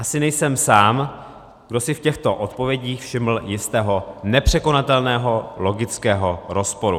Asi nejsem sám, kdo si v těchto odpovědích všiml jistého nepřekonatelného logického rozporu.